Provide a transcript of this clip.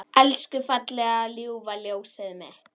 Elsku fallega ljúfa ljósið mitt.